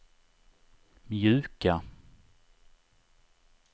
mjuka